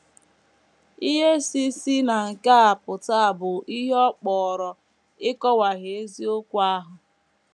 Ihe si si na nke a pụta bụ ihe ọ kpọrọ “ ịkọwahie eziokwu ahụ. ”